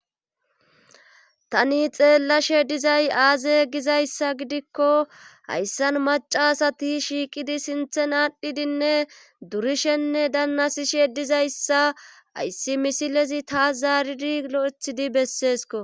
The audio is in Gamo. tani xeellashe dizay aaze gizayssa gidikko hayssan maca asati shiiqidi sinthen aadhdhidinne durishenne dannasishe dizayssa ayssi misilezi taas zaaridi lo7ethidi besseesko